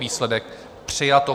Výsledek: přijato.